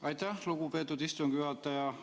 Aitäh, lugupeetud istungi juhataja!